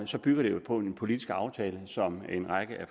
så bygger det på en politisk aftale som en række af